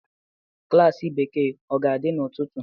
Klas Bekee ọ ga-adị n'ụtụtụ?